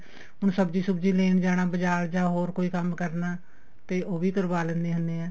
ਹੁਣ ਸਬਜੀ ਸੁਬਜੀ ਲੈਣ ਜਾਣਾ ਬਜਾਰ ਜਾਂ ਹੋਰ ਕੋਈ ਕੰਮ ਕਰਨਾ ਤੇ ਉਹ ਵੀ ਕਰਵਾ ਲੈਨੇ ਹੁੰਨੇ ਆ